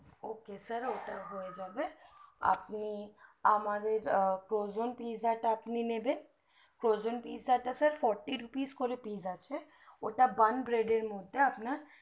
ok sir ওটা হয়ে যাবে আপনি আমাদের cogans pizza টা আপনি নিবেন cogans pizza টা sir fourthy rupees pice করে আছে ওটা one red এর মধ্যে আপনার